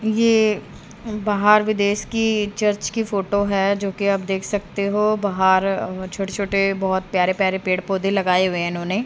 ये बाहर विदेश की चर्च की फ़ोटो है जोकि आप देख सकते हो बाहर छोटे छोटे बहोत प्यारे प्यारे पेड़ पौधे लगाए हुए हैं इन्होंने--